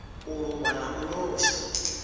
u luvha na u losha